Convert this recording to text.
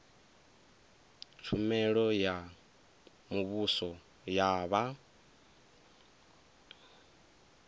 tshumelo ya muvhuso ya vha